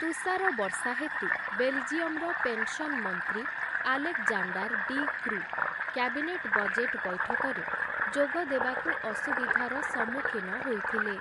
ତୁଷାର ବର୍ଷା ହେତୁ ବେଲ୍‌ଜିୟମ୍‌ର ପେନ୍‌ସନ୍ ମନ୍ତ୍ରୀ Alexander De Croo, cabinet budget ବୈଠକରେ ଯୋଗଦେବାକୁ ଅସୁବିଧାର ସମ୍ମୁଖୀନ ହୋଇଥିଲେ ।